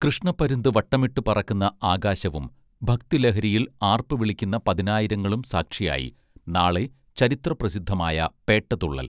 കൃഷ്ണപ്പരുന്ത് വട്ടമിട്ടു പറക്കുന്ന ആകാശവും ഭക്തി ലഹരിയിൽ ആർപ്പു വിളിക്കുന്ന പതിനായിരങ്ങളും സാക്ഷിയായി നാളെ ചരിത്ര പ്രസിദ്ധമായ പേട്ട തുള്ളൽ